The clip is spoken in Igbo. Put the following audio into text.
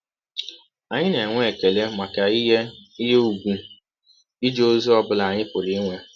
Anyị na - enwe ekele maka ihe ihe ùgwù ije ọzi ọ bụla anyị pụrụ inwe.